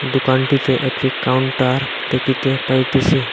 দোকানটিতে একটি কাউন্টার দেখিতে পাইতেসি।